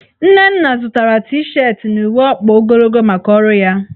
Nnenna zụtara T-shetị na uwe ọkpa ogologo maka ọrụ ya.